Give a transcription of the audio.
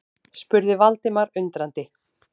spurði Valdimar undrandi.